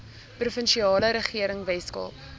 provinsiale regering weskaap